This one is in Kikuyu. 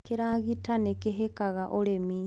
kĩragita nĩkĩhikaga ũrĩmi